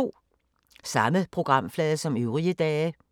Samme programflade som øvrige dage